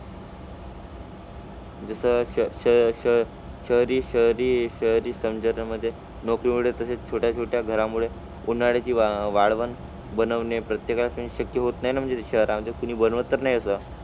जसं शह शह शहरी शहरी शहरी शहरी समाजामध्ये नोकरीमुुळे तसेच छोट्या छोट्या घरामुळे उन्हाळ्याची वाळ वाळवण बनवणे प्रत्येकाशी शक्य होत नाही ना म्हणजे शहरांमध्ये कोणी बनवत तर नाही असं.